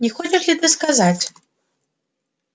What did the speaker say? не хочешь ли ты сказать